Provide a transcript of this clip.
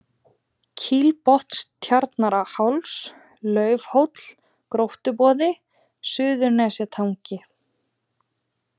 Kílbotnstjarnarháls, Laufhóll, Gróttuboði, Suðurnestangi